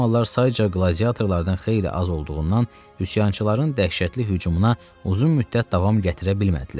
Romalılar sayıca qladiatorlardan xeyli az olduğundan üsyançıların dəhşətli hücumuna uzun müddət davam gətirə bilmədilər.